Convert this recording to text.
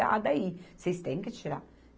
Ah, daí vocês têm que tirar.